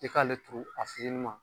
I k'ale turu a fitinima